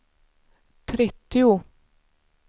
trettio